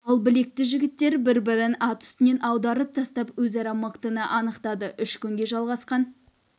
ал білекті жігіттер бір бірін ат үстінен аударып тастап өзара мықтыны анықтады үш күнге жалғасқан